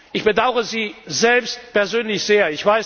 Ich bedaure Sie selbst persönlich sehr.